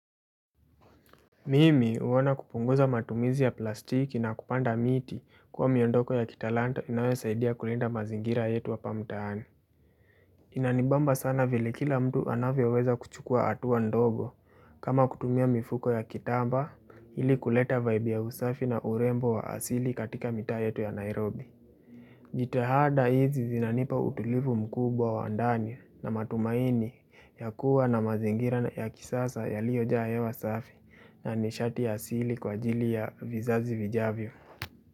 Mimi huona kupunguza matumizi ya plastiki na kupanda miti kuwa miondoko ya kitalanta inayo saidia kulinda mazingira yetu hapa mtaani. Inanibamba sana vile kila mtu anavyoweza kuchukua hatua ndogo kama kutumia mifuko ya kitambaa ili kuleta vibe ya usafi na urembo wa asili katika mitaa yetu ya Nairobi. Jitahada hizi zinanipa utulivu mkubwa wa ndani na matumaini ya kuwa na mazingira ya kisasa yaliyo jaa hewa safi na nishati ya asili kwa ajili ya vizazi vijavyo.